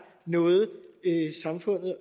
noget samfundet og